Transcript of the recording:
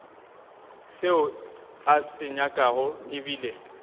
seo a se nyakago ebile